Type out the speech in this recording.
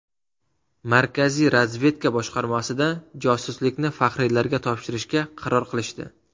Markaziy razvedka boshqarmasida josuslikni faxriylarga topshirishga qaror qilishdi.